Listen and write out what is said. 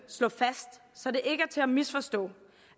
slå fast så det ikke er til at misforstå